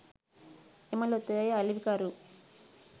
එම ලොතරැයි අලෙවිකරු